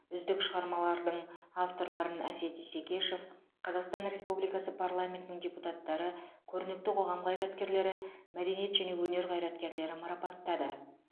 үздік шығармалардың авторларын әсет исекешев қазақстан республикасы парламентінің депутаттары көрнекті қоғам қайраткерлері мәдениет және өнер қайраткерлері марапаттады